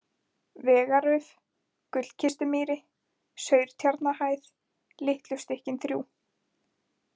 Vegarauf, Gullkistumýri, Saurtjarnahæð, Litlu stykkin þrjú